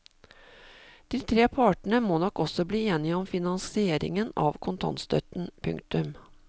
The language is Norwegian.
De tre partene må også bli enig om finansieringen av kontantstøtten. punktum